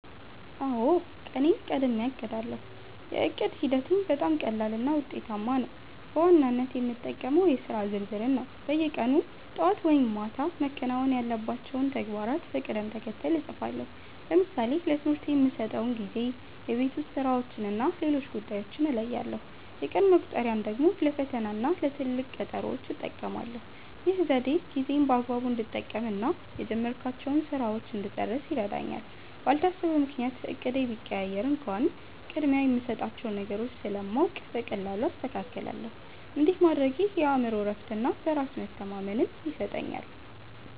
አውዎ፣ ቀኔን ቀድሜ አቅዳለው። የዕቅድ ሂደቴም በጣም ቀላልና ውጤታማ ነው። በዋናነት የምጠቀመው የሥራ ዝርዝርን ነው። በየቀኑ ጠዋት ወይም ማታ መከናወን ያለባቸውን ተግባራት በቅደም ተከተል እጽፋለሁ። ለምሳሌ ለትምህርቴ የምሰጠውን ጊዜ፣ የቤት ውስጥ ሥራዎችንና ሌሎች ጉዳዮችን እለያለሁ። የቀን መቁጠሪያን ደግሞ ለፈተናና ለትልቅ ቀጠሮዎች እጠቀማለሁ። ይህ ዘዴ ጊዜዬን በአግባቡ እንድጠቀምና የጀመርኳቸውን ሥራዎች እንድጨርስ ይረዳኛል። ባልታሰበ ምክንያት እቅዴ ቢቀየር እንኳን፣ ቅድሚያ የምሰጣቸውን ነገሮች ስለማውቅ በቀላሉ አስተካክላለሁ። እንዲህ ማድረጌ የአእምሮ እረፍትና በራስ መተማመን ይሰጠኛል።